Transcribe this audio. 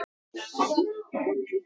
Hættu þessu!